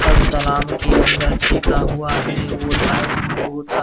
सब तालाब के अंदर फेंका हुआ है और साइड्स में बहुत सा --